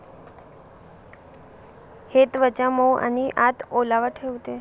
हे त्वचा मऊ आणि आत ओलावा ठेवते.